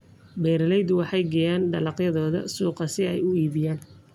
Beeraleydu waxay geeyaan dalagyadooda suuqa si ay u iibgeeyaan.